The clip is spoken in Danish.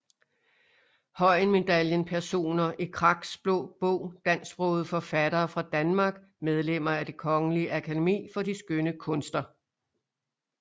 Høyen Medaljen Personer i Kraks Blå Bog Dansksprogede forfattere fra Danmark Medlemmer af Det Kongelige Akademi for de Skønne Kunster